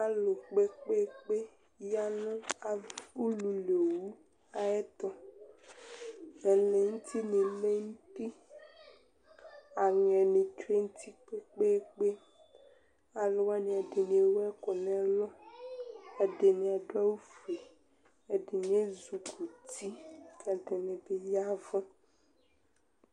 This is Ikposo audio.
alu kpekpekpe ya nu ululi owu ayɛtu ɛlɛ nuti ni lɛ nu uti, aŋɛ nu tsʋe nu uti kpekpekpe, alu wʋani ɛdini ewu ɛku nu ɛlu, ɛdini adu awu fue, ɛdini ezukuti ku ɛdini bi yavu